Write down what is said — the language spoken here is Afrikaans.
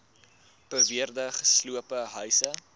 beweerde gesloopte huise